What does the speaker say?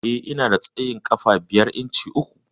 Eh, Ina da tsayin ƙafa biyar inci uku.